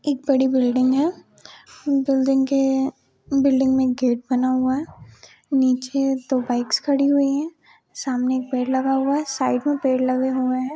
एक बड़ी बिल्डिंग है। बिल्डिंग के बिल्डिंग में गेट बना हुआ है। नीचे दो बाइक्स खड़ी हुई है। सामने एक पेड़ लगा हुआ है। साइड में पेड़ लगे हुए है।